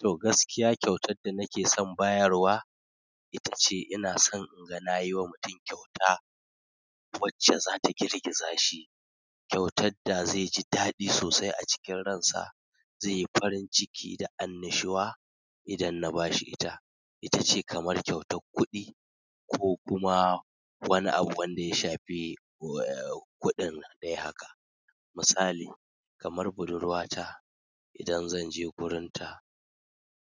Toh gaskiya kyautar da nake son bayarwa ita ce ina son in ga na yi wa mutum kyauta wacce za ta girgiza shi, kyautar da zai ji daɗi sosai a cikin ransa, zai yi farin ciki da annishuwa idan na ba shi ita. Ita ce kamar kyautar kuɗi ko kuma. Wani abu wanda ya shafi kuɗin dai haka. Misali kamar budurwata idan zan je gurinta